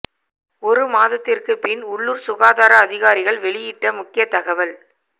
ஒரு மாதத்திற்கு பின் உள்ளூர் சுகாதார அதிகாரிகள் வெளியிட்ட முக்கிய தகவல்